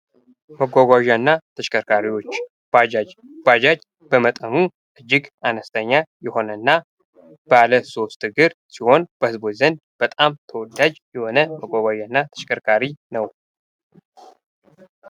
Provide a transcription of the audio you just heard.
መጓጓዣና ተሽከርካሪዎች ባጃጅ። ባጃጅ በመጠኑ እጅግ አነስተኛ የሆነ እና ባለ ሶስት እግር ሲሆን በህዝቦች ዘንድ በጣም ተወዳጅ የሆነ መጓጓዣ እና ተሽከርካሪ ነው።